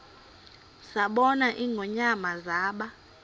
zabona ingonyama zaba